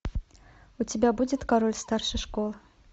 у тебя будет король старшей школы